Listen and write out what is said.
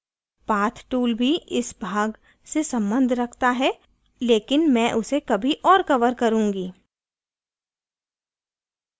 path tool भी इस भाग से सम्बन्ध रखता है लेकिन मैं उसे कभी और cover करुँगी